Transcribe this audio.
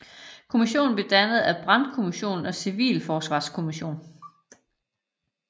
Kommissionen blev dannet af brandkommission og civilforsvarskommission